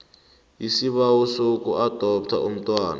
isibawo sokuadoptha umntwana